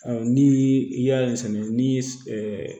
Ɔ ni i y'ale sɛnɛ ni